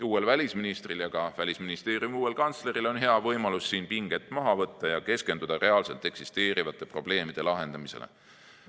Uuel välisministril ja ka Välisministeeriumi uuel kantsleril on hea võimalus siin pinged maha võtta ja keskenduda reaalselt eksisteerivate probleemide lahendamisele.